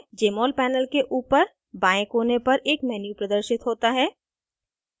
jmol panel के ऊपर बाएं कोने पर एक menu प्रदर्शित होता है